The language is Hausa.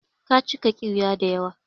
Ka cika ƙiwiya da yawa.